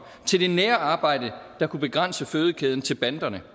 til det nære arbejde der kunne begrænse fødekæden til banderne